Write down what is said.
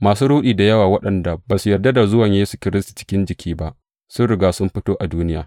Masu ruɗi da yawa, waɗanda ba su yarda da zuwan Yesu Kiristi cikin jiki ba, sun riga sun fito a duniya.